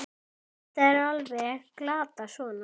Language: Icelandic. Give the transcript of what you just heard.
Þetta er alveg glatað svona!